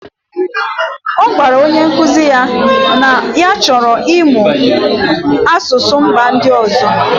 Ọ gwara onye nkuzi ya na ya chọrọ ịmụ asụsụ mba ndị ọzọ.